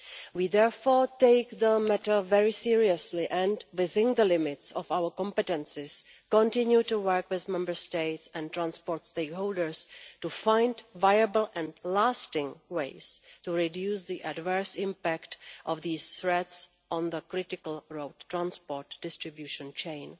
We therefore take the matter very seriously, and within the limits of our competences continue to work with Member States and transport stakeholders to find viable and lasting ways to reduce the adverse impact of these threats on the critical road transport distribution chain.